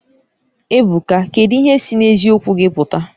Ebuka kedu ihe si n'eziokwu gị pụta?